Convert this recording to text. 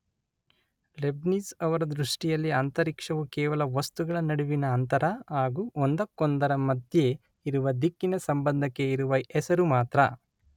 Leibniz ಅವರ ದ್ರುಷ್ಟಿಯಲ್ಲಿ ಅಂತರಿಕ್ಷವು ಕೇವಲ ವಸ್ತುಗಳ ನಡುವಿನ ಅಂತರ ಹಾಗು ಒಂದಕ್ಕೊಂದರ ಮಧ್ಯೆ ಇರುವ ದಿಕ್ಕಿನ ಸಂಬಂಧಕ್ಕೆ ಇರುವ ಹೆಸರು ಮಾತ್ರ.